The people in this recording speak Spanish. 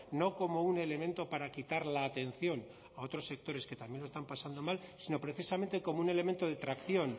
no como un elemento para quitar la atención a otros sectores que también lo están pasando mal sino precisamente como un elemento de tracción